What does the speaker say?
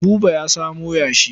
Buba ya samo yashi.